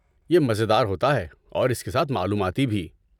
یہ مزیدار ہوتا ہے اور اس کے ساتھ معلوماتی بھی۔